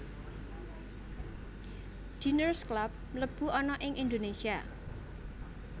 Diners Club mlebu ana ing Indonesia